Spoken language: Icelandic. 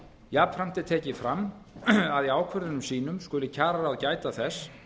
jafnframt er tekið fram að í ákvörðunum sínu skuli kjararáð gæta þess